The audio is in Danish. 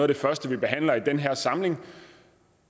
det første vi behandler i den her samling